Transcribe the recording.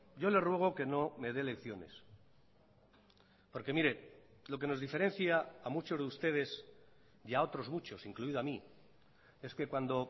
yo le ruego que no me dé lecciones porque mire lo que nos diferencia a muchos de ustedes y a otros muchos incluido a mí es que cuando